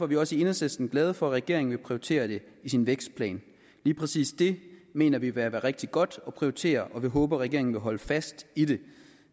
vi også i enhedslisten glade for at regeringen vil prioritere det i sin vækstplan lige præcis det mener vi vil være rigtig godt at prioritere og vi håber at regeringen vil holde fast i det